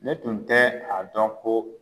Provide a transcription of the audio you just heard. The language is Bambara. Ne tun tɛ a dɔn ko